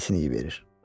Ofisini verir.